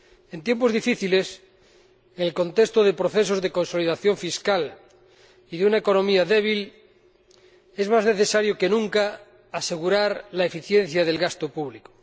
En tiempos difíciles, en el contexto de procesos de consolidación fiscal y de una economía débil, es más necesario que nunca asegurar la eficiencia del gasto público.